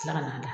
Tila ka na